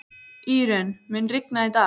Írunn, mun rigna í dag?